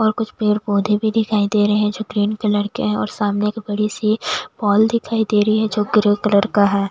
और कुछ पेड़-पौधे भी दिखाई दे रहे हैं जो ग्रीन कलर के है और सामने एक बड़ी सी वॉल दिखाई दे रही है जो ग्रे कलर का है।